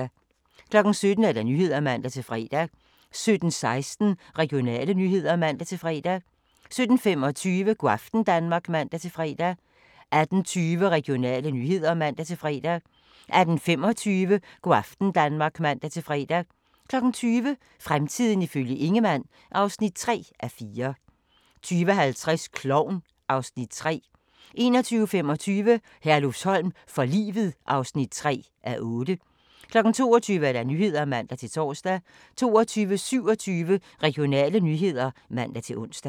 17:00: Nyhederne (man-fre) 17:16: Regionale nyheder (man-fre) 17:25: Go' aften Danmark (man-fre) 18:20: Regionale nyheder (man-fre) 18:25: Go' aften Danmark (man-fre) 20:00: Fremtiden ifølge Ingemann (3:4) 20:50: Klovn (Afs. 3) 21:25: Herlufsholm for livet (3:8) 22:00: Nyhederne (man-tor) 22:27: Regionale nyheder (man-ons)